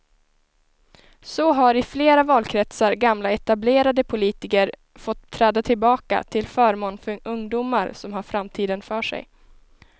Så har i flera valkretsar gamla etablerade politiker fått träda tillbaka till förmån för ungdomar som har framtiden för sig.